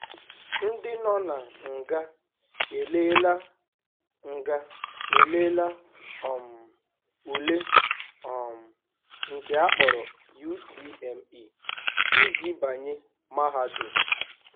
Ndị nọ na nga eleela nga eleela um ule um nke akpọrọ UTME iji banye Mahadum.